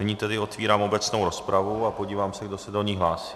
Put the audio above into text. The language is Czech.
Nyní tedy otvírám obecnou rozpravu a podívám se, kdo se do ní hlásí.